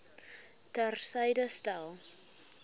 ter syde stel